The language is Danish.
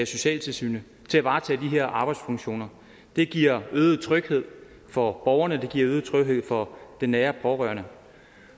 socialtilsynet til at varetage de her arbejdsfunktioner det giver øget tryghed for borgerne og det giver øget tryghed for den nære pårørende